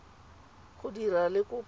go dira le kopo ya